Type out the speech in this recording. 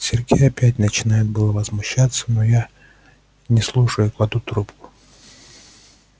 сергей опять начинает было возмущаться но я не слушаю кладу трубку